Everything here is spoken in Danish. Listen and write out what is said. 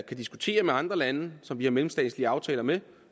diskutere med andre lande som vi har mellemstatslige aftaler med